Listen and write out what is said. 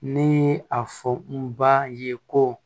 Ni a fɔ n ba ye ko